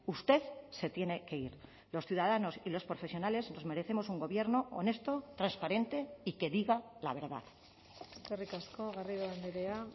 usted se tiene que ir los ciudadanos y los profesionales nos merecemos un gobierno honesto transparente y que diga la verdad eskerrik asko garrido andrea